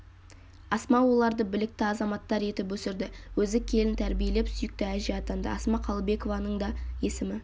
асма оларды білікті азаматтар етіп өсірді өзі келін тәрбиелеп сүйікті әже атанды асма қалыбекованың да есімі